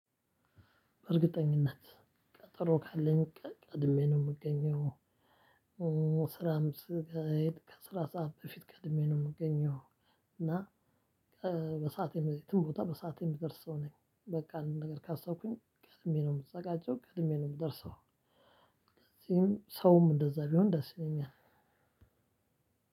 በእርግጠኝነት ቀጠሮ ካለኝ ቀ ቀድሜ ነው ምገኘው። ስራም ስጋሄድ ከስራ ሰዓት በፊት ቀድሜ ነው ምገኘው። እና ቀ በሰአት የም የትም ቦታ በሰአት የምደርስ ሰው ነኝ። በቃ አንድ ነገር ካሰብኩኝ ቀድሜ ነው ምዘጋጀው ቀድሜ ነው ምደርሰው። ከዚህም ሰውም እንደዛ ቢሆን ደስ ይለኛል።